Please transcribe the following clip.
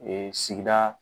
Ee sigida